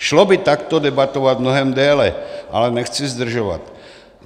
Šlo by takto debatovat mnohem déle, ale nechci zdržovat.